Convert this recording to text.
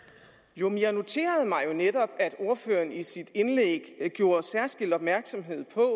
jo men jeg noterede mig jo netop at ordføreren i sit indlæg gjorde særskilt opmærksom